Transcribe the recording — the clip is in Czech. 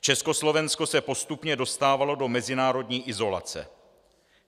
Československo se postupně dostávalo do mezinárodní izolace.